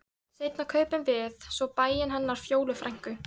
Seinna kaupum við svo bæinn hennar Fjólu frænku.